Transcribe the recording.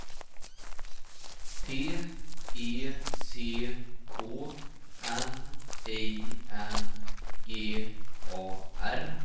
T E C K N I N G A R